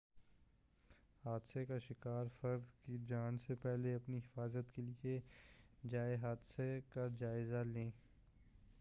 حادثہ کے شکار فرد کی جانچ سے پہلے اپنی حفاظت کے لیے جائے حادثہ کا جائزہ لیں